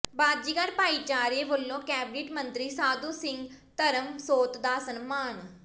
ਬਾਜ਼ੀਗਰ ਭਾਈਚਾਰੇ ਵੱਲੋਂ ਕੈਬਨਿਟ ਮੰਤਰੀ ਸਾਧੂ ਸਿੰਘ ਧਰਮਸੋਤ ਦਾ ਸਨਮਾਨ